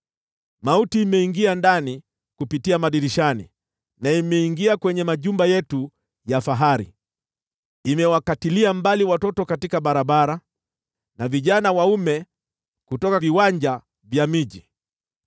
Mauti imeingia ndani kupitia madirishani, imeingia kwenye majumba yetu ya fahari; imewakatilia mbali watoto katika barabara na vijana waume kutoka viwanja vya miji.